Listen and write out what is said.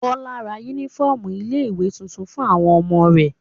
Bọ́lá ra únífọ́ọ́mù ilé-ìwé tuntun fún àwọn ọmọ rẹ̀.